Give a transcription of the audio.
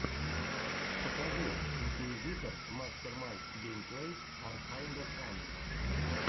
покажи инкуизитор мастер май геймплэйс ар кайнда фанни